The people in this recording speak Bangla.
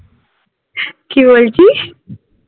কি বলছিস?